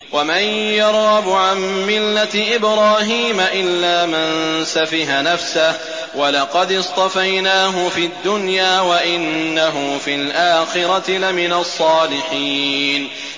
وَمَن يَرْغَبُ عَن مِّلَّةِ إِبْرَاهِيمَ إِلَّا مَن سَفِهَ نَفْسَهُ ۚ وَلَقَدِ اصْطَفَيْنَاهُ فِي الدُّنْيَا ۖ وَإِنَّهُ فِي الْآخِرَةِ لَمِنَ الصَّالِحِينَ